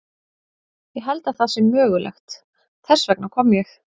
Ég held að það sé mögulegt, þess vegna kom ég.